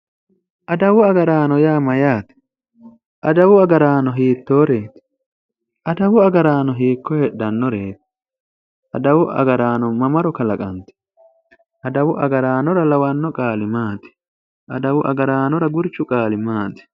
adawu agaranno ya mayyaate? adawu agarano hittoreeti? adawu agarano hiiko heedhannoreeti? adawu agaraano mamaro kalaqantino? adawu agaraanora lawanno qaali maati? adawu agaraanora qurchu qaali maati?